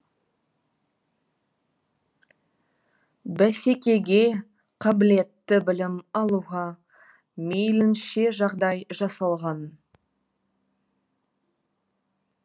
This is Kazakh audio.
бәсекеге қабілетті білім алуға мейлінше жағдай жасалған